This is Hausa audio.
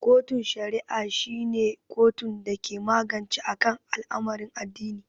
kotun shari'a shi ne kotun dake magance akan al'amarin addini.